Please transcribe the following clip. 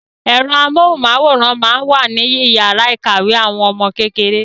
Ẹ̀rọ amóhùnmáwòrán máa ń wà níyàrá ìkàwé àwọn ọmọ kékeré.